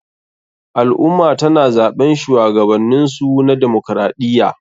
Al ummah tana zaɓen shuwagabaninsu na demaokaraɗiya